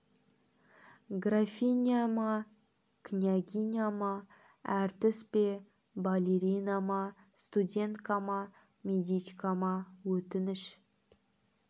графиня ма княгиня ма әртіс пе балерина ма студентка ма медичка ма өтініш